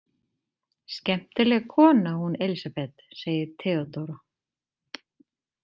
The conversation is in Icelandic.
Skemmtileg kona, hún Elísabet, segir Theodóra.